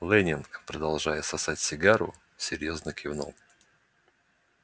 лэннинг продолжая сосать сигару серьёзно кивнул